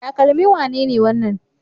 Takalmin wane ne wannan?